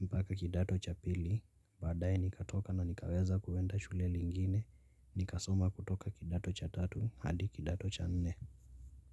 mpaka kidato cha pili badaye nikatoka na nikaweza kuenda shule lingine nikasoma kutoka kidato cha tatu hadi kidato cha nne.